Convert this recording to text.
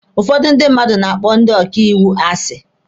Ụfọdụ ndị mmadụ na-akpọ ndị ọkaiwu asi.